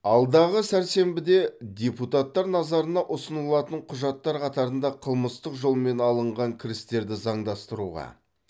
алдағы сәрсенбіде депутаттар назарына ұсынылатын құжаттар қатарында қылмыстық жолмен алынған кірістерді заңдастыруға